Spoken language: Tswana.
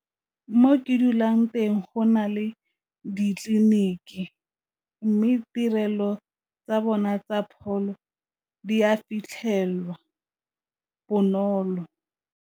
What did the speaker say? Mo ke dulang teng go na le ditleliniki mme tirelo tsa bona tsa pholo di a fitlhelwa bonolo.